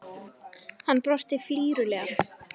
Hann brosti flírulega.